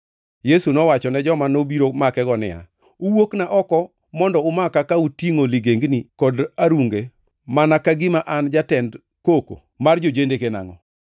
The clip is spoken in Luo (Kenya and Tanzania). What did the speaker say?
Yesu nowachone joma nobiro makego niya, “Uwuokna oko mondo umaka ka utingʼo ligengni kod arunge mana ka gima an jatend koko mar jo-jendeke nangʼo?